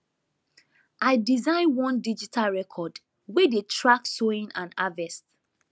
i design one digital record wey dey track sowing and harvest